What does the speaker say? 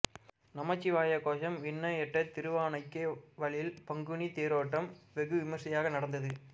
நமசிவாய கோஷம் விண்ணை எட்ட திருவானைக்காவலில் பங்குனி தேரோட்டம் வெகுவிமர்சியாக நடந்தது